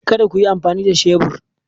Kada ku yi amfani da shebur